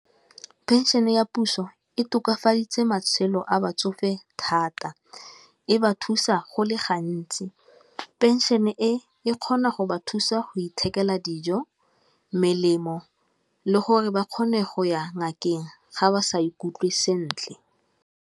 Phenšene ya puso e tokafaditse matshelo a batsofe thata, e ba thusa go le gantsi, phenšene e kgona go ba thusa go ithekela dijo, melemo, le gore ba kgone go ya ngakeng ga ba sa ikutlwe sentle.